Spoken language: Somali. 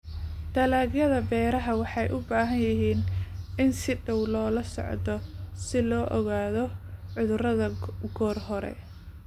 Dalagyada Beeraha waxay u baahan yihiin in si dhow loola socdo si loo ogaado cudurrada goor hore.